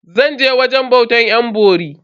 Zan je wajen bautar yan bori.